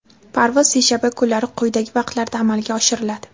parvoz seshanba kunlari quyidagi vaqtlarda amalga oshiriladi:.